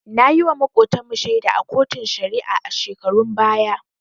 Nayiwa Makotan mu shaida a koton shari'a a shekarun baya